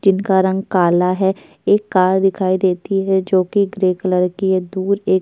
जिनका रंग काला है एक कार दिखाई देती है जोकि ग्रे कलर की है दूर एक --